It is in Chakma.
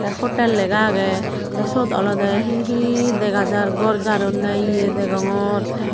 te hotel lega agey te suot olodey he he dega jar gor jaronney ye degongor.